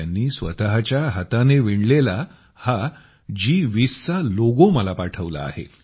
त्यांनी स्वतःच्या हाताने विणलेला हा जी२०चा लोगो मला पाठवला आहे